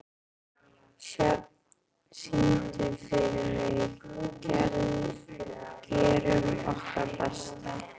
Sjöfn, syngdu fyrir mig „Gerum okkar besta“.